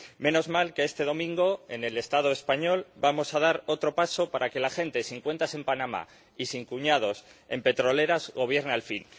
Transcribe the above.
Menos mal que este domingo, en el Estado español, vamos a dar otro paso para que la gente sin cuentas en Panamá y sin cuñados en petroleras gobierne al fin.